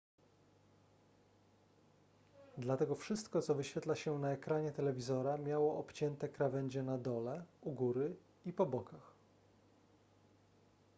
dlatego wszystko co wyświetla się na ekranie telewizora miało obcięte krawędzie na dole u góry i po bokach